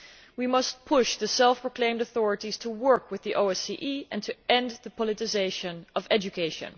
We must push the self proclaimed authorities to work with the OSCE and to end the politicisation of education.